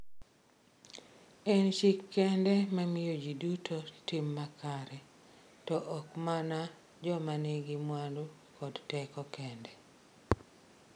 En chik kende ma miyo ji duto tim makare, to ok mana joma nigi mwandu kod teko kende.